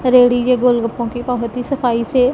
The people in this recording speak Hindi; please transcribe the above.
रेडी के गोलगप्पे की बहोत ही सफाई से--